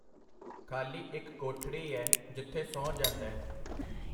ਖਾਲੀ ਇੱਕ ਕੋਠੜੀ ਐ ਜਿੱਥੇ ਸੌਂ ਜਾਂਦੈ.